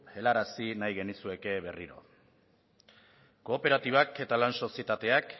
helarazi nahi genizueke berriro kooperatibak eta lan sozietateak